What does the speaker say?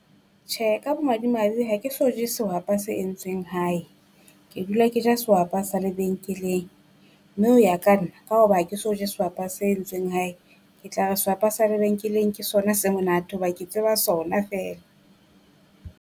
Tjhe, ka bomadimabe ha ke so je sehwapa se entsweng hae, ke dula ke ja sehwapa sa lebenkeleng. Mme ho ya ka nna ka hoba ke so je sehwapa se entsweng hae, ke tla re sehwapa sa lebenkeleng ke sona se monate hoba ke tseba sona feela.